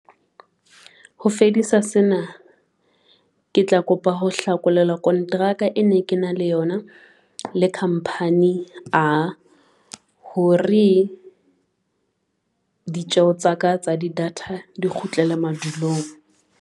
Ho fedisa sena, ke tla kopa ho hlakolelwa kontraka e ne ke na le yona le Company A, hore ditjeho tsa ka tsa di-data di kgutlele madulong.